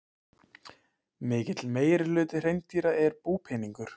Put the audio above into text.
Mikill meirihluti hreindýra er búpeningur.